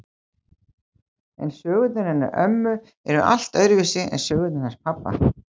En sögurnar hennar ömmu eru allt öðruvísi en sögurnar hans pabba.